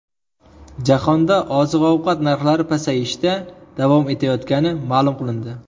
Jahonda oziq-ovqat narxlari pasayishda davom etayotgani ma’lum qilindi.